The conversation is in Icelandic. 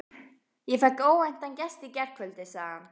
Ég fékk óvæntan gest í gærkvöldi, sagði hann.